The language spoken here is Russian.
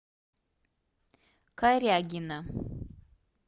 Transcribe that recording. корягина